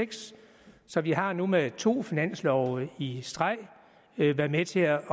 så vi har nu med to finanslove i streg været med til at